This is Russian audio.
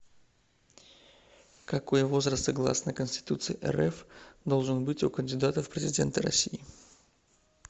какой возраст согласно конституции рф должен быть у кандидатов в президенты россии